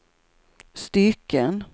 stycken